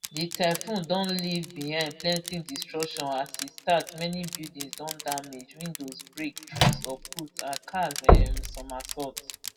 di typhoon don leave behind plenty destruction as e start many buildings don damage windows break trees uproot and cars um somersault